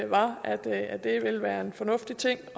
var at at det vil være en fornuftig ting